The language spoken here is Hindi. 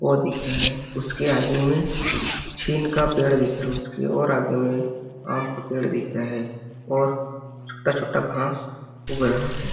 ओ दिख रहे उसके आगे में छीन का पेड़ दिख रहा उसके और आगे में आम का पेड़ दिख रहे हैं और छोटा छोटा घास उग रहा है।